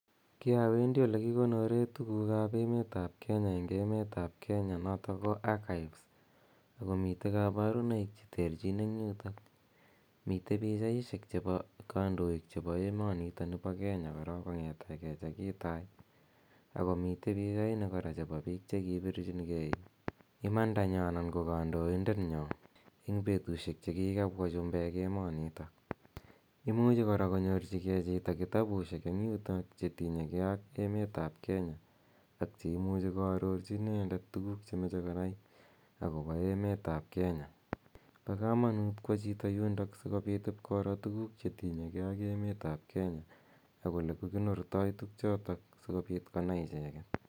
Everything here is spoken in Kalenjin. Ki a wendi ole kikonore tuguuk ap Kenya eng' emet ap Kenya, notok ko Archives. Mitei kaparunoik che terchin eng' yutok. Mitei pichaishek chebo kandoik che emonitoni po Kenya korok kong, ete ke che kitai. Ako mitei pichaini che piik che kipirchin gei imanda nyo anan ko kandaindet nywa eng' petushek che kikapwa chumbek emanitok. Imuchi kora konyorchigei chito kitabusiek eng' yu che tinye gei ak emet ap Kenya ak che imuchi koarorchi inendet tuguuk che mache konai akopa emet ap Kenya. Pa kamanuut ko wa chito yundo si kopit ipkoro tuguuk che tinyei ge ak emet ap Kenya ak ole kikonortoi tugchotok si kopiit konai icheget.